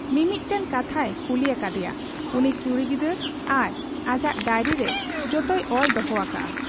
ᱢᱤᱢᱤᱫᱴᱟᱹᱝ ᱠᱟᱛᱷᱟᱭ ᱠᱩᱞᱤ ᱟᱠᱟᱫ ᱮᱭᱟ ᱩᱱᱤ ᱠᱩᱲᱤ ᱜᱤᱫᱟᱹᱨ ᱟᱨ ᱟᱡᱟᱜ ᱰᱟᱭᱨᱤᱨᱮ ᱡᱚᱛᱚᱭ ᱚᱞ ᱫᱚᱦᱚ ᱟᱠᱟᱜ ᱟ ᱾